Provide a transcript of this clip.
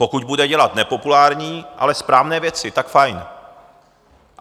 Pokud bude dělat nepopulární, ale správné věci, tak fajn.